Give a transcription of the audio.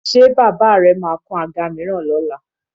Ṣé bàbà rẹ máa kan àga mìíràn lọ́la?